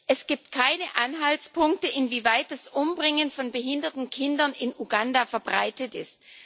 Es gibt keine Anhaltspunkte, inwieweit das Umbringen von behinderten Kindern in Uganda verbreitet ist.